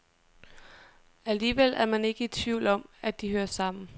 Alligevel er man ikke i tvivl om, at de hører sammen.